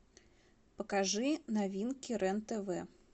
покажи новинки рен тв